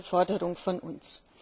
Das war eine Forderung von uns.